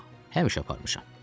Yox, həmişə aparmışam.